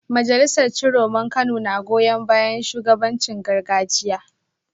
Majalisar Ciroman Kano na goyon bayan shugabancin gargajiya